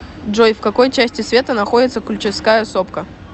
джой в какой части света находится ключевская сопка